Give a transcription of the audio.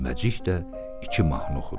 Düyməcik də iki mahnı oxudu.